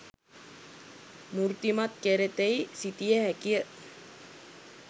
මූර්තිමත් කෙරෙතියි සිතිය හැකිය